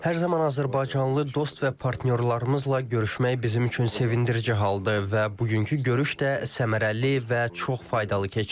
Hər zaman azərbaycanlı dost və partnyorlarımızla görüşmək bizim üçün sevindirici haldır və bugünkü görüş də səmərəli və çox faydalı keçdi.